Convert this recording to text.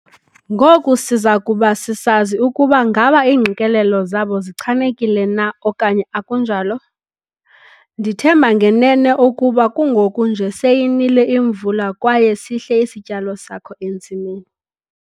Ngoku siza kuba sisazi ukuba ngaba iingqikelelo zabo zichanekile na okanye akunjalo? Ndithemba ngenene ukuba kungoku nje seyinile imvula kwaye sihle isityalo sakho entsimini.